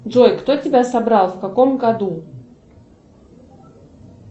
джой кто тебя собрал в каком году